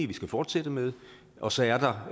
vi skal fortsætte med og så er der